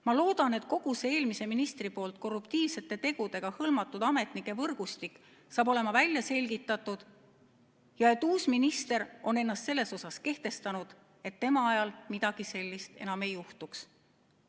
Ma loodan, et kogu see eelmise ministri korruptiivsete tegudega hõlmatud ametnike võrgustik saab välja selgitatud ja et uus minister on ennast selles mõttes kehtestanud, et tema ajal midagi sellist enam ei juhtuks.